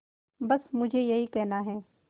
बस मुझे यही कहना है